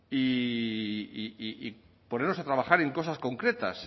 y ponernos a trabajar en cosas concretas